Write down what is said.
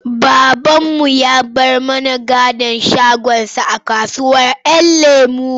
Babanmu ya bar mana gadon shagonsa a kasuwar ‘Yan lemo.